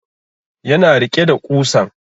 Ya na rike da ƙusan